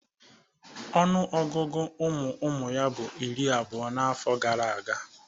Ọnụọgụgụ ụmụụmụ ya bụ iri abụo n'afọ gara aga.